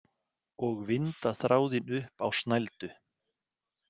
Og vinda þráðinn upp á snældu.